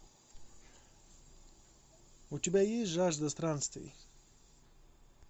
у тебя есть жажда странствий